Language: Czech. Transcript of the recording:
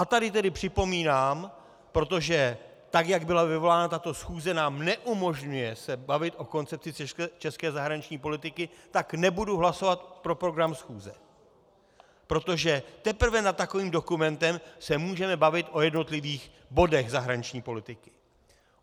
A tady tedy připomínám, protože tak jak byla vyvolána tato schůze, nám neumožňuje se bavit o koncepci české zahraniční politiky, tak nebudu hlasovat pro program schůze, protože teprve nad takovým dokumentem se můžeme bavit o jednotlivých bodech zahraniční politiky.